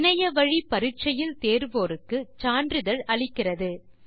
online test தேறியவர்களுக்குச் சான்றிதழ்கள் தருகின்றனர்